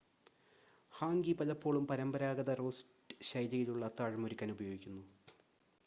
hangi പലപ്പോഴും പരമ്പരാഗത roast ശൈലിയിലുള്ള അത്താഴം ഒരുക്കാൻ ഉപയോഗിക്കുന്നു